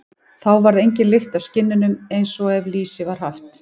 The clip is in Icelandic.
Þá varð engin lykt af skinnunum, eins og ef lýsi var haft.